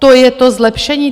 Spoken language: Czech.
To je to zlepšení?